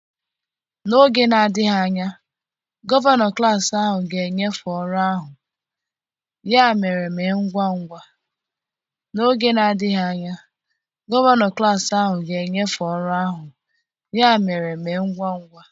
N'oge na-adịghị anya, gọvanọ klas ahụ ga-enyefe ọrụ ahụ, ya mere mee ngwa ngwa.